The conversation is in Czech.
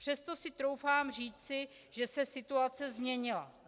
Přesto si doufám říci, že se situace změnila.